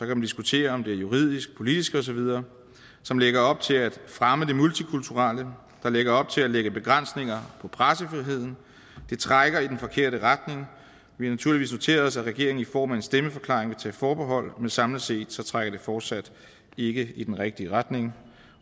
man diskutere om det er juridisk politisk og så videre som lægger op til at fremme det multikulturelle som lægger op til at lægge begrænsninger på pressefriheden det trækker i den forkerte retning vi har naturligvis noteret os at regeringen i form af en stemmeforklaring vil tage forbehold men samlet set trækker det fortsat ikke i den rigtige retning